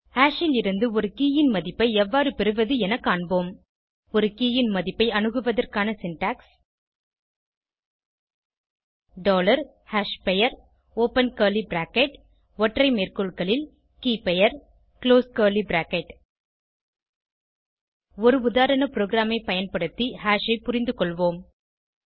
hash லிருந்து ஒரு K ன் மதிப்பை எவ்வாறு பெறுவது என காண்போம் ஒரு கே ன் மதிப்பை அணுகுவதற்கான சின்டாக்ஸ் டாலர் hashபெயர் ஒப்பன் கர்லி பிராக்கெட் ஒற்றை மேற்கோள்களில் keyபெயர் குளோஸ் கர்லி பிராக்கெட் ஒரு உதாரண ப்ரோகிராமை பயன்படுத்தி ஹாஷ் ஐ புரிந்துகொள்வோம்